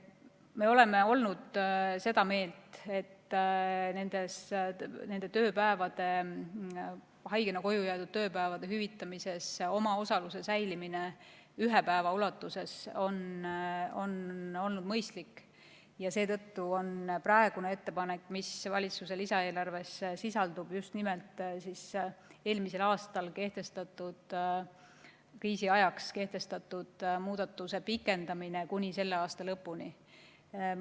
Me oleme olnud seda meelt, et nende tööpäevade, haigena koju jäädud tööpäevade hüvitamises omaosaluse säilimine ühe päeva ulatuses on olnud mõistlik, ja seetõttu on praegune ettepanek, mis valitsuse lisaeelarves sisaldub, just nimelt eelmisel aastal kriisi ajaks kehtestatud muudatuse pikendamine kuni selle aasta lõpuni.